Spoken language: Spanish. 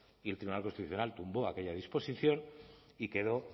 y el tribunal constitucional tumbó aquella disposición y quedó